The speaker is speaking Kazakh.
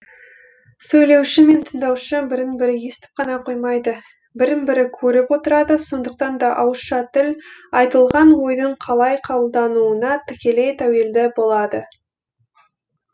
сөйлеуші мен тыңдаушы бірін бірі естіп қана қоймайды бірін бірі көріп отырады сондықтан да ауызша тіл айтылған ойдың қалай қабылдануына тікелей тәуелді болады